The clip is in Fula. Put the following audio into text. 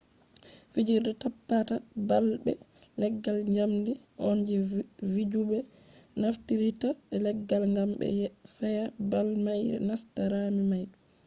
fijirde tappata ball be leggal jamdi on je vijube nafteritta be laggal gam be feya ball mai nasta rami mai